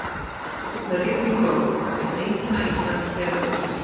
Rigning og rok- eitt einkenna íslensks veðurlags.